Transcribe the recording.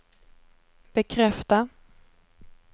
bekräfta